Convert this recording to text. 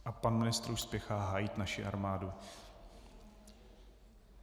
A pan ministr už spěchá hájit naši armádu.